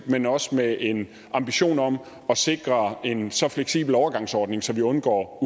men også med en ambition om at sikre en så fleksibel overgangsordning så vi undgår